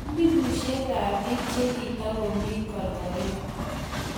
Elfusiekab bik che kitokomi korkoret.